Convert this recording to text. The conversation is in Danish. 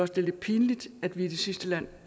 det er lidt pinligt at vi er det sidste